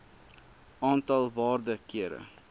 aantal waarde kere